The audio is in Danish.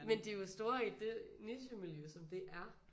Men de er jo store i det nichemiljø som det ér